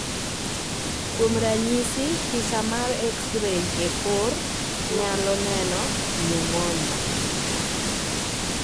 Kuom ranyisi picha mar x-ray ekor nyalo neno pneumonia.